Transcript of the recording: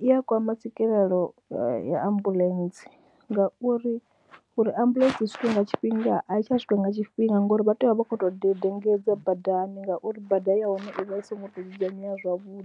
I ya kwama tswikelelo ya ya ambuḽentse ngauri uri ambuḽentse i swike nga tshifhinga a i tsha swika nga tshifhinga ngori vha tea u vha vha khou tou dedengedza badani ngauri bada ya hone i vha i songo tou dzudzanyea zwavhuḓi,